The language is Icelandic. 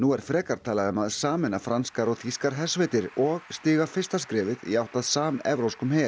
er frekar talað um að sameina franskar og þýskar hersveitir og stíga fyrsta skrefið í átt að samevrópskum her